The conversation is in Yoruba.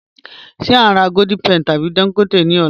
Ṣe a n rà Golden Penny tabi Dangote ni ọ̀lá?